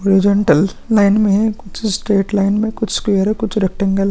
horizontal line में है कुछ स्ट्रैट लाइन में कुछ स्क्वेयर है कुछ रेक्टेंगल --